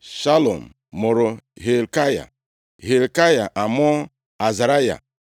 Shalum mụrụ Hilkaya, Hilkaya amụọ Azaraya.